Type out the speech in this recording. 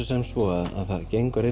sem svo að það gengur